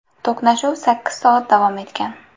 To‘qnashuv sakkiz soat davom etgan.